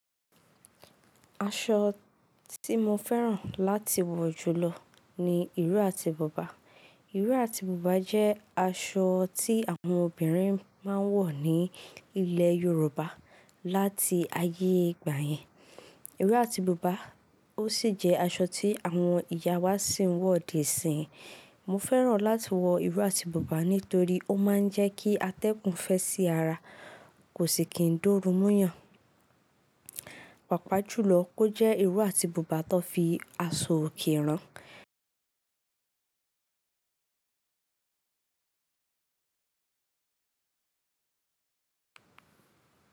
Aṣọ tí mo fẹ́ràn láti wọ jùlọ ni ìró àti bubà. Ìró àti bubà jẹ́ aṣọ tí àwọn obìnrin máa ń wọ̀ ní ilẹ̀ Yorùbá láti ayé ìgbà yẹn. Ìró àti bubà ó sì jẹ́ aṣọ tí àwọn ìyá wa sì ń wọ̀ di isín. Mo fẹ́ràn láti maa wọ ìró àti bubà nítorí ó máa ń jẹ́ kí atẹ́gùn fẹ́ sí ara, kò sì kí ń dóru mu eyàn. Pàápàá jùlọ kó jẹ́ ìró àti bubà tó fi aṣọ òkè rán.